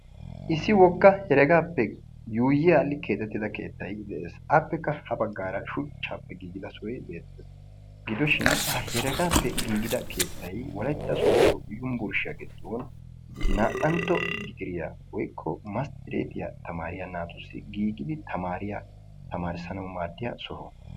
issi woga heregaappe keexetida keettay de'ees. appekka ha bagaara shchaape keexetida sohoy beetees, gidoshin heregaappe keexetida wolaytta soodo yunvurshiya giddon naa"antto digriya naata tamaranwu maades.